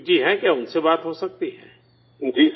سپریت جی ہیں کیا؟ ان سے بات ہو سکتی ہے؟